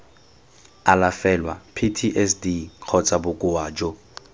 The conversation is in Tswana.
alafelwa ptsd kgotsa bokoa jo